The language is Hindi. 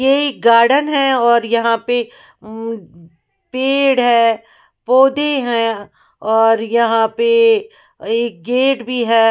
ये यह गार्डन है और यहां पर पेड़ है पौधे हैं और यहां पर एक गेट भी है।